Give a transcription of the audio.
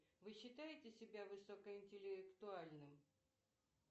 вы считаете себя высокоинтеллектуальным